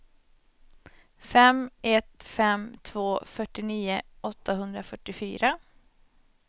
fem ett fem två fyrtionio åttahundrafyrtiofyra